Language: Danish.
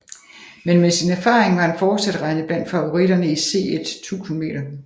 Men med sin erfaring var han fortsat regnet blandt favoritterne i C1 1000 m